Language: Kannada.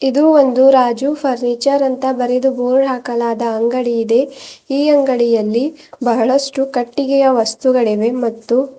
ಇದು ಒಂದು ರಾಜು ಫರ್ನಿಚರ್ ಅಂತ ಬರೆದು ಬೋರ್ಡ್ ಹಾಕಲಾದ ಅಂಗಡಿ ಇದೆ ಈ ಅಂಗಡಿಯಲ್ಲಿ ಬಹಳಷ್ಟು ಕಟ್ಟಿಗೆಯ ವಸ್ತುಗಳಿವೆ ಮತ್ತು--